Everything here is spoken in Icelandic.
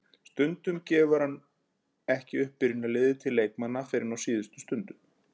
Stundum gefur hann ekki upp byrjunarliðið til leikmanna fyrr en á síðustu stundu.